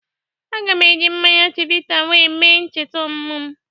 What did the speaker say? Aga m eji mmanya chivita we mee ncheta ọmumụ m